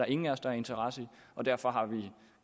ingen af os der har interesse i og derfor har vi